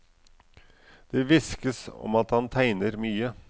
Det hviskes om at han tegner mye.